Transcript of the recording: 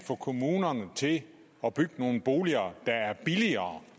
få kommunerne til at bygge nogle boliger der er billigere